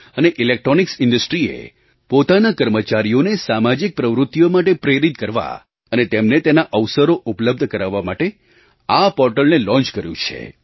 અને ઇલેક્ટ્રૉનિક્સ ઇન્ડસ્ટ્રીએ પોતાના કર્મચારીઓને સામાજિક પ્રવૃત્તિઓ માટે પ્રેરિત કરવા અને તેમને તેના અવસરો ઉપલબ્ધ કરવા માટે આ પૉર્ટલને લૉન્ચ કર્યું છે